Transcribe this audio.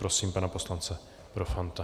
Prosím pana poslance Profanta.